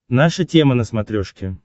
наша тема на смотрешке